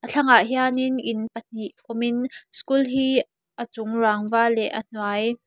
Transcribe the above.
thlangah hian in in pahnih awmin school hi a chung rangva leh a hnuai--